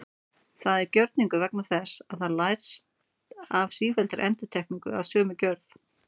Það er gjörningur vegna þess að það lærist af sífelldri endurtekningu af sömu gjörð.